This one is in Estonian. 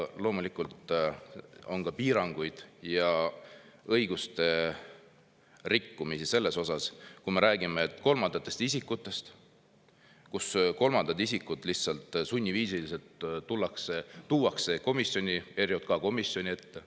Loomulikult on ka piiranguid ja õiguste rikkumisi selles osas, kui me räägime kolmandatest isikutest, kolmandad isikud lihtsalt sunniviisiliselt tuuakse komisjoni, ERJK ette.